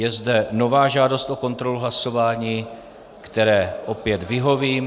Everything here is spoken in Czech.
Je zde nová žádost o kontrolu hlasování, které opět vyhovím.